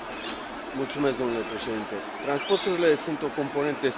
Transporturile sunt o componentă esențială a economiei Uniunii Europene.